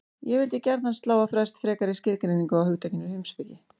Ég vildi gjarnan slá á frest frekari skilgreiningu á hugtakinu heimspeki.